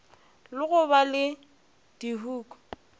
le go ba le dihuku